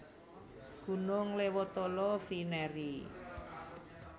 Gunung Lewotolo vInerie